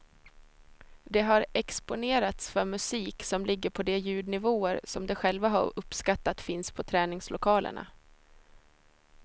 De har exponerats för musik som ligger på de ljudnivåer som de själva har uppskattat finns på träningslokalerna.